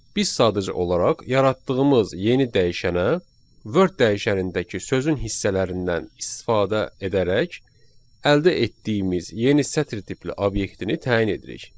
Biz sadəcə olaraq yaratdığımız yeni dəyişənə word dəyişənindəki sözün hissələrindən istifadə edərək əldə etdiyimiz yeni sətr tipli obyektini təyin edirik.